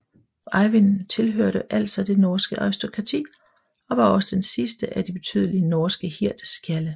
Eyvind tilhørte altså det norske aristokrati og var også den sidste af de betydelige norske hirdskjalde